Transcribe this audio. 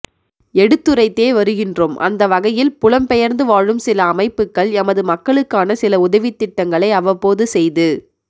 எடுத்துரைத்தே வருகின்றோம் அந்த வகையில் புலம்பெயர்ந்து வாழும் சிலஅமைப்புக்கள் எமது மக்களுக்கான சில உதவித்திட்டங்களை அவ்வப்போது செய்து